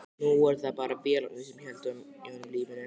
Nú voru það bara vélarnar sem héldu í honum lífinu.